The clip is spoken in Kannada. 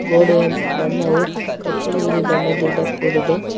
ಕೋಣೆಯ ಬಣ್ಣವು ಕಪ್ಪು ನೀಲಿ ಬಣ್ಣದಿಂದ ಕೂಡಿದೆ.